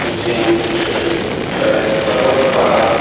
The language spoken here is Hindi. नदियों में छोटे-छोटे पत्थर है रखा हुआ पहाड़ --